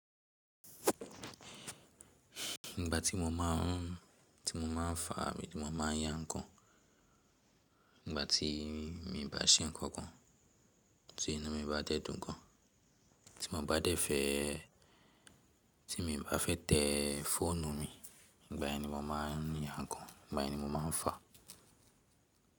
Igbà tí mo máa, tí mo máa fà, ti mo, tí mo má a yàn ǹkan, ígbà tí mi bá ṣe ǹkankan, tí inu mi bá de dun gan, tí mo bá dẹ́fẹ̀ẹ́, tín mi bá fe te ffọ́nù mi, ígbà yen ni mo máa ya ǹkan, ígbà yen ni mo máa fà.